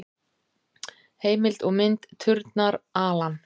Heimild og mynd: Turnar, Alan.